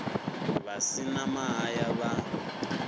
vha si na mahaya vha